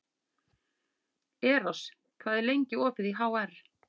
Eros, hvað er lengi opið í HR?